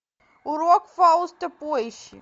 урок фауста поищи